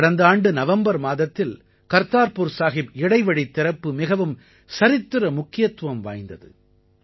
கடந்த ஆண்டு நவம்பர் மாதத்தில் கர்த்தார்புர் சாஹிப் இடைவழித் திறப்பு மிகவும் சரித்திர முக்கியத்துவம் வாய்ந்தது